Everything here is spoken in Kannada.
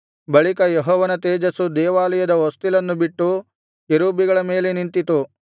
ಬಳಿಕ ಯೆಹೋವನ ತೇಜಸ್ಸು ದೇವಾಲಯದ ಹೊಸ್ತಿಲನ್ನು ಬಿಟ್ಟು ಕೆರೂಬಿಗಳ ಮೇಲೆ ನಿಂತಿತು